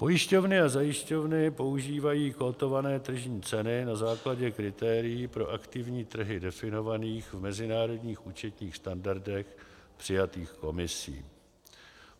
Pojišťovny a zajišťovny používají kotované tržní ceny na základě kritérií pro aktivní trhy definovaných v mezinárodních účetních standardech přijatých Komisí.